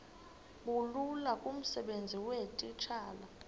bulula kumsebenzi weetitshala